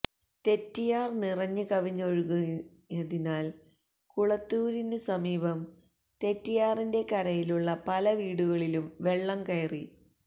തെറ്റിയാര് നിറഞ്ഞ് കവിഞ്ഞൊഴുകിയതിനാല് കുളത്തൂരിനു സമീപം തെറ്റിയാറിന്റെ കരയിലുള്ള പലവീടുകളിലും വെള്ളം കയറി